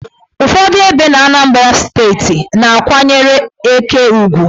Ụfọdụ ebe n' Anambra steeti na-akwanyere eke ugwu.